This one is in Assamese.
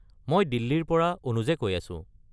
মই দিল্লীৰ পৰা অনুজে কৈ আছো।